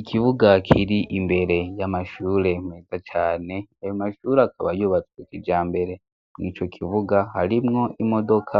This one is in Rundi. Ikibuga kiri imbere y'amashure meza cane ayo mashure akaba yubatswe kija mbere mu ico kivuga harimwo imodoka